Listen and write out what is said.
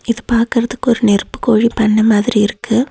இது பாக்குறதுக்கு ஒரு நெருப்பு கோழி பண்ண மாதிரி இருக்கு.